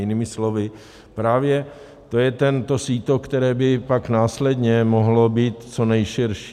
Jinými slovy, právě to je to síto, které by pak následně mohlo být co nejširší.